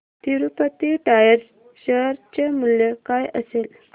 Tirupati tyres share चे मूल्य काय असेल